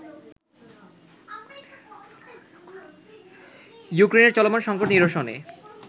ইউক্রেইনের চলমান সঙ্কট নিরসনে